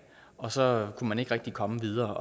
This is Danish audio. og så kunne man ikke rigtig komme videre